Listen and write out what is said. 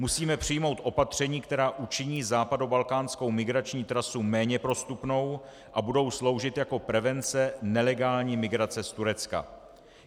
Musíme přijmou opatření, která učiní západobalkánskou migrační trasu méně prostupnou a budou sloužit jako prevence nelegální migrace z Turecka.